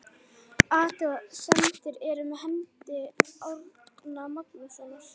Athuga semdir eru með hendi Árna Magnússonar.